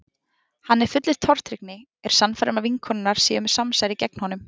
Hann er fullur tortryggni, er sannfærður um að vinkonurnar séu með samsæri gegn honum.